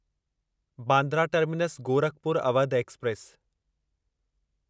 Bandra Terminus Gorakhpur Awadh express